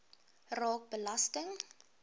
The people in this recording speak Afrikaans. raak belasting